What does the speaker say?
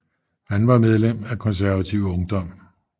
Han var medlem af Konservativ Ungdom